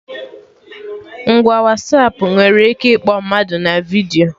Ngwa Wasapụ nwere ike ịkpọ mmadụ na vidiyo